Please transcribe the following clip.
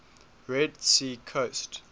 red sea coast